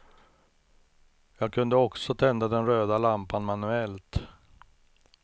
Jag kunde också tända den röda lampan manuellt.